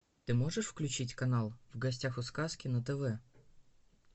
ты можешь включить канал в гостях у сказки на тв